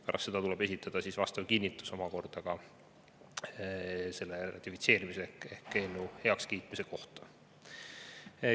Pärast seda tuleb esitada vastav kinnitus omakorda ka selle ratifitseerimise ehk heakskiitmise kohta.